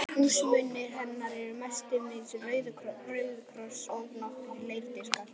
Húsmunir hennar eru mestmegnis róðukross og nokkrir leirdiskar.